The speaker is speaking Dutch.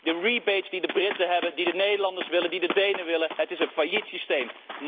De rebates die de Britten hebben, die de Nederlanders en de Denen willen, het is een failliet systeem.